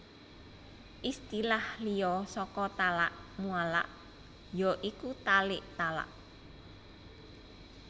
Istilah liya saka talak muallaq ya iku talik talak